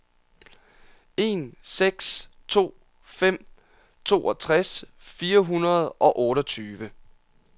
en seks to fem toogtres fire hundrede og otteogtyve